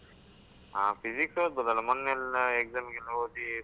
ಹ Physics ಓದ್ಬಹುದಲ್ಲ ಮೊನ್ನೆಯೆಲ್ಲ exam ಗೆಲ್ಲ ಓದಿ.